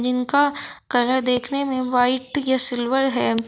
इनका कलर देखने में व्हाइट या सिल्वर है।